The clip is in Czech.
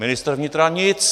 Ministr vnitra nic.